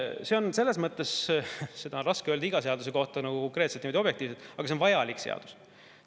See on selles mõttes … seda on raske öelda iga seaduse kohta nagu konkreetselt ja niimoodi objektiivselt, aga see on vajalik seadus.